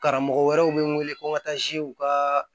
Karamɔgɔ wɛrɛw bɛ n wele ko ka taa zuw ka